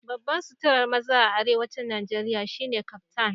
Babban suturar maza a Arewacin Najeriya shine Kaftan